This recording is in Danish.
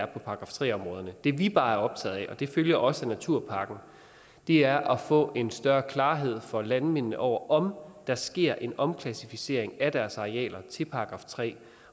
§ tre områderne det vi bare er optaget af og det følger også af naturpakken er at få en større klarhed for landmændene over om der sker en omklassificering af deres arealer til § tre